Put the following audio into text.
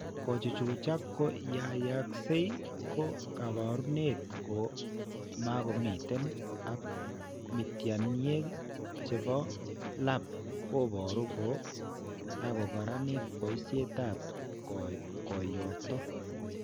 Kochuchuchak ko yaayakse ko kaabarunet ko mako miiten ak miityaniek che po lab ko boru ko kokararanit boisietap kooyto.